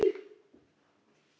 Um hann Arnar.